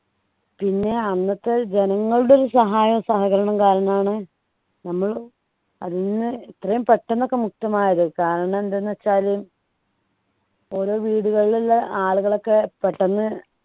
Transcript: പിന്നെ അന്നത്തെ ജനങ്ങളുടെ ഒരു സഹായ സഹകരണം കാരണാണ് നമ്മൾ അന്ന് ഇത്രയും പെട്ടെന്ന് ഒക്കെ മുക്തമായത് കാരണമെന്തെന്ന് വെച്ചാല് ഓരോ വീട്ടികളിലുള്ള ആളുകളൊക്കെ പെട്ടെന്ന്